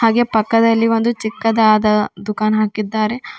ಹಾಗೆ ಪಕ್ಕದಲ್ಲಿ ಒಂದು ಚಿಕ್ಕದಾದ ದುಖಾನ್ ಹಾಕಿದ್ದಾರೆ.